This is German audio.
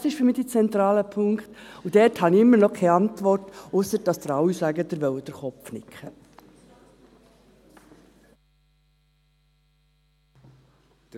Dies ist für mich der zentrale Punkt, und dort habe ich immer noch keine Antwort, ausser dass Sie alle sagen, dass Sie mit dem Kopf nicken wollen.